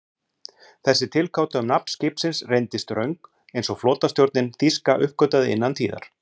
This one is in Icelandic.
Þessi tilgáta um nafn skipsins reyndist röng, eins og flotastjórnin þýska uppgötvaði innan tíðar.